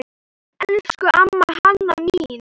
Elsku amma Hanna mín.